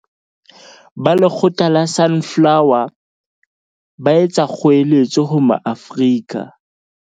Ba Letlole la Sunflo wer, ba etsa kgoeletso ho Maafrika